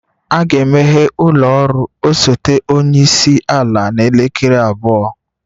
A ga-emeghe ụlọ ọrụ osote onye isi ala n'elekere abụọ?